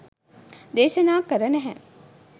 දේශනා කර නෑහෑ.